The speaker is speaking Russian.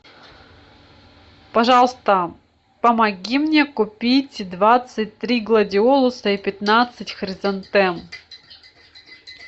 пожалуйста помоги мне купить двадцать три гладиолуса и пятнадцать хризантем